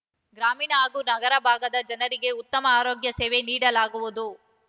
ಗ್ರಾಮೀಣ ಹಾಗೂ ನಗರಭಾಗದ ಜನರಿಗೆ ಉತ್ತಮ ಆರೋಗ್ಯ ಸೇವೆ ನೀಡಲಾಗುವುದು